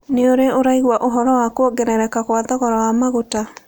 Nĩ ũrĩ ũraigua ũhoro wa kwongerereka kwa thogora wa maguta?